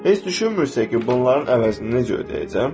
Heç düşünmürsən ki, bunların əvəzinə necə ödəyəcəm?